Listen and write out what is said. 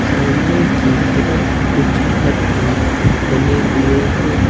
सामने की तरफ कुछ घर भी बने हुए हैं।